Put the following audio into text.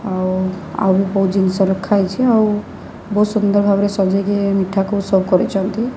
ଆଉ ଆଉ କୋଉ ଜିନିଷ ରଖାହେଇଚି। ଆଉ ବହୁତ୍ ସୁନ୍ଦର ଭାବରେ ସଜେଇକି ମିଠାକୁ ସବୁ କରିଛନ୍ତି।